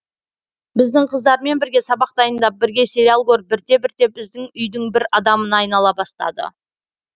біздің қыздармен бірге сабақ дайындап бірге сериал көріп бірте бірте біздің үйдің бір адамына айнала бастады